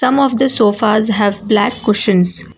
Some of the sofas have black cushions.